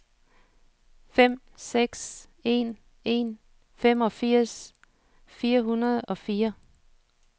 fem seks en en femogfirs fire hundrede og fire